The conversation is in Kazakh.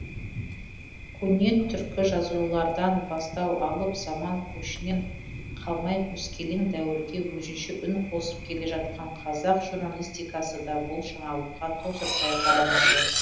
көне түркі жазулардан бастау алып заман көшінен қалмай өскелең дәуірге өзінше үн қосып келе жатқан қазақ журналистикасы да бұл жаңалыққа тосырқай қарамады